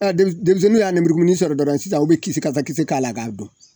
demis denmisɛnninw y'a nemurukumuni sɔrɔ dɔrɔn sisan u be kisi kasa kisi k'a la k'a dun